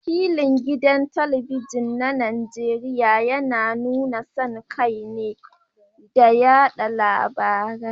Wakilin gidan talabijin na Najeriya yana nuna son kai da yada labarai